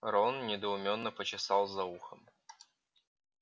рон недоумённо почесал за ухом